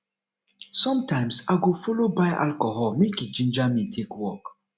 somtimes i go follow buy alcohol mek e ginger me to take work